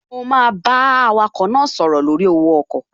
Mo máa bá awakọ̀ náà sọ̀rọ̀ lórí owó ọkọ̀